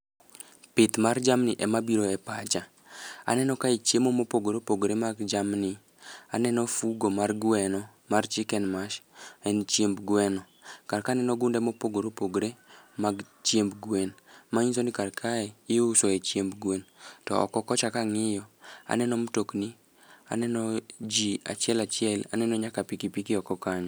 Pith mar jamni ema biro e pacha, aneno kae chiemo mopogore opogore mag jamni. Aneno fugo mar gweno mar chiken mash, en chiemb gweno. Karka aneno gunde mopogore opogore mag chiemb gwen, ma nyiso ni kar kae iuso e chiemb gwen. To oko kocha kang'iyo, aneno mtokni aneno ji achiel achiel aneno nyaka piki piki oko kanyo.